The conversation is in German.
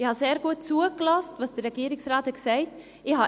Ich habe sehr gut zugehört, was der Regierungsrat gesagt hat.